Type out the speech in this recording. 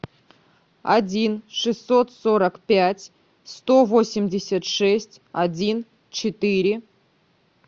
один шестьсот сорок пять сто восемьдесят шесть один четыре